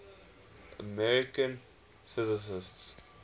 american physicists